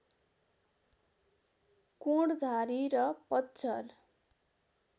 कोणधारी र पतझर